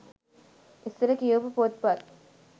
ඉස්සර කියවපු පොත් පත්